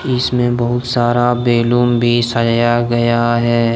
इसमें बहुत सारा बैलून भी सया गया है।